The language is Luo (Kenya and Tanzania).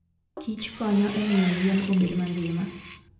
kich konyo e miyo yien obed mangima.